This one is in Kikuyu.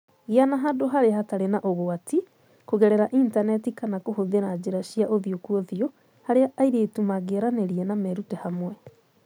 Gĩa na handũ harĩa hatarĩ na ũgwati (kũgerera Intaneti kana kũhũthĩra njĩra cia ũthiũ kwa ũthiũ) harĩa airĩtu mangĩaranĩria na merute hamwe.